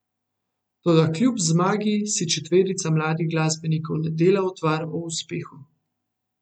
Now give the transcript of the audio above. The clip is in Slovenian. Toda kljub zmagi si četverica mladih glasbenikov ne dela utvar o uspehu.